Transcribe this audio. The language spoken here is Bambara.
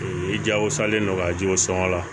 I jagosalen don ka jiw sɔngɔ la